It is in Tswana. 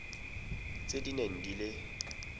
tse di neng di le